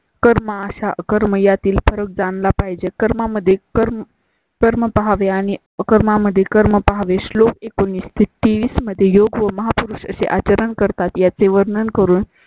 कर्मा अशा कर्म यातील फरक जाणला पाहिजे. कर्मा मध्ये कर्म कर्म पहावे आणि अकर्म मध्ये कर्म पाहावे श्लोक एकोणावीस तेवीस मध्ये योग्य व महापुरुष असे आचरण करतात. याचे वर्णन करून